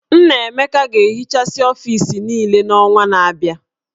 Nnaemeka ga-ehichasị ọfis niile n'ọnwa na-abịa